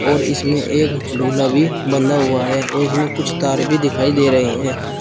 और इसमें एक ढोला भी बंधा हुआ है और इसमें कुछ तार भी दिखाई दे रहे हैं।